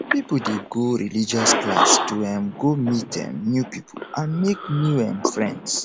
pipo de go religious class to um go meet um new pipo and make new um friends